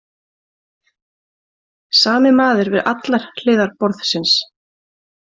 Sami maður við allar hliðar borðsins